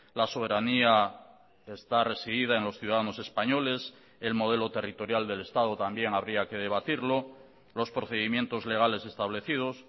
la soberanía está residida en los ciudadanos españoles el modelo territorial del estado también habría que debatirlo los procedimientos legales establecidos